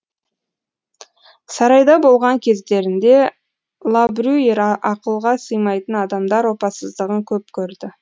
сарайда болған кездерінде лабрюйер ақылға сыймайтын адамдар опасыздығын көп көрді